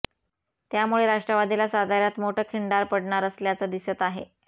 त्यामुळे राष्ट्रवादीला साताय्रात मोठ खिंडार पडणार असल्याचं दिसत आहे